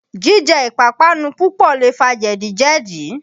Jíjẹ ìpapánu púpọ̀ lè fa jẹ̀díjẹ̀dí.